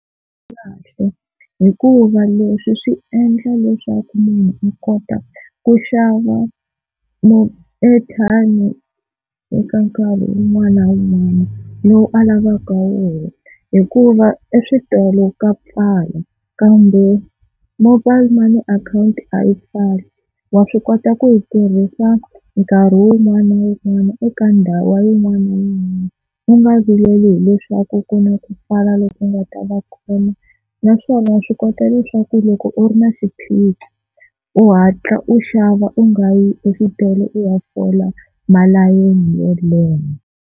Swi kahle hikuva leswi swi endla leswaku munhu a kota ku xava airtime eka nkarhi wun'wana na wun'wana lowu a lavaka wona hikuva eswitolo ka pfala, kambe mobile money akhawunti a yi pfali, wa swi kota ku yi tirhisa nkarhi wun'wana na wun'wana eka ndhawu wa yin'wana u nga vileli hileswaku ku na ku pfala loko ku nga ta va kona. Naswona wa swi kota leswaku loko u ri na xiphiqo u hatla u xava u nga yi exitolo u ya fola malayeni yo leha.